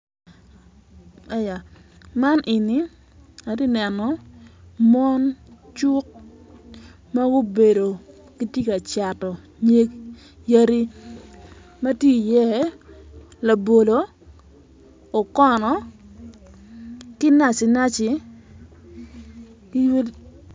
Aya man eni atye ka neno mon cuk ma gubedo gitye ka cato nyig yadi matye iye labolo, okono ki naci naci